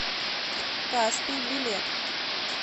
каспий билет